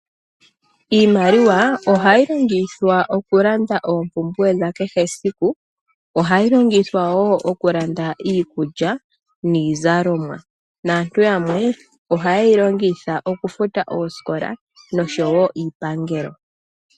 Iimaliwa oha yi longithwa oku landa oompumbwe dha kehe esiku. Oha yi longithwa wo oku landa iikulya niizalomwa, naantu yamwe oha ye yi longitha oku futa oosikola, nosho wo iipangelo.